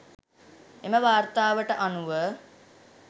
එම වාර්තාවට අනුව